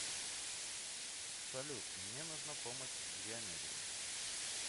салют мне нужна помощь с геометрией